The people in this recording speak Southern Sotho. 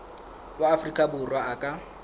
wa afrika borwa a ka